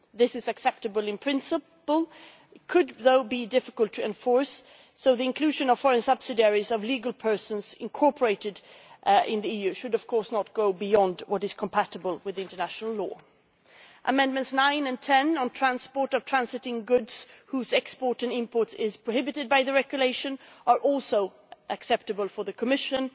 This is acceptable in principle, but it could be difficult to enforce, so the inclusion of foreign subsidiaries of legal persons incorporated in the EU should of course not go beyond what is compatible with international law. Amendments 9 and 10 on the transport of transiting goods whose export and import is prohibited by the regulation are also acceptable for the Commission